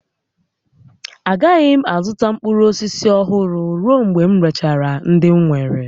Agaghị m azụta mkpụrụ osisi ọhụrụ ruo mgbe m rechara ndị m nwere